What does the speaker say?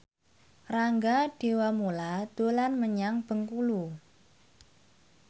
Rangga Dewamoela dolan menyang Bengkulu